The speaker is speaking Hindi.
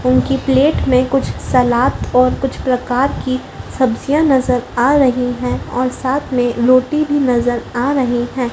उनकी प्लेट में कुछ सलाद और कुछ प्रकार की सब्जियां नजर आ रही है और साथ में रोटी भी नजर आ रहे हैं।